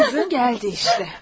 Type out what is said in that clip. Qızın gəldi işte.